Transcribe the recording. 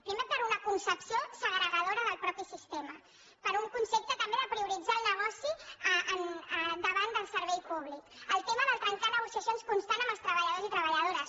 primer per una concepció segrega·dora del mateix sistema per un concepte també de pri·oritzar el negoci davant del servei públic pel tema de trencar negociacions constant amb els treballadors i treballadores